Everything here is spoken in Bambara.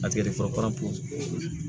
A tigɛ de fɔlɔ ye